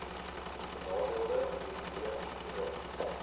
benadeelde individue hbis